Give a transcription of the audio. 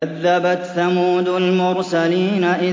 كَذَّبَتْ ثَمُودُ الْمُرْسَلِينَ